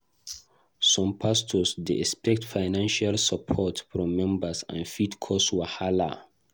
Some pastors dey expect financial support from members, and e fit cause wahala.